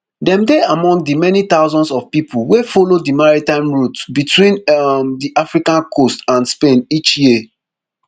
dem dey among di many thousands of pipo wey follow di maritime route between um di african coast and spain each year